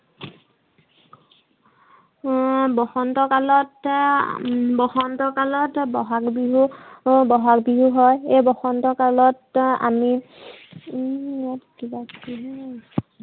বসন্ত কালতে, বসন্ত কালত বহাগ বিহু বহাগ বিহু হয়। এই বসন্ত কালত আমি কিবা কিবি